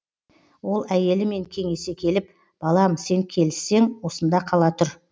ол әйелімен кеңесе келіп балам сен келіссең осында қала тұр